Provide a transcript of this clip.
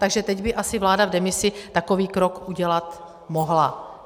Takže teď by asi vláda v demisi takový krok udělat mohla.